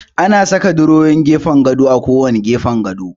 Ana saka durowowin gefen gado a kowanne gefen gado.